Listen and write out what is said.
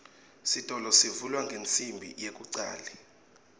sitolo sivulwa ngensimbi yekucale